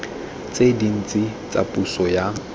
tse dintsi tsa puso ya